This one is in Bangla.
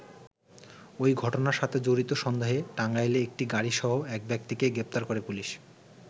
ওই ঘটনার সাথে জড়িত সন্দেহে টাঙ্গাইলে একটি গাড়িসহ এক ব্যক্তিকে গ্রেপ্তার করে পুলিশ।